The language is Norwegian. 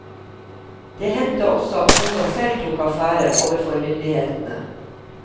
Det hendte også at kona selv tok affære overfor myndighetene.